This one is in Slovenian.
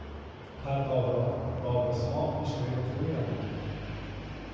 Kar dobro, dobro smo in še vedno treniramo.